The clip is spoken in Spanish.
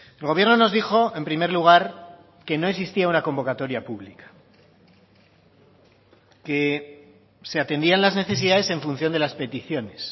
el gobierno nos dijo en primer lugar que no existía una convocatoria pública que se atendían las necesidades en función de las peticiones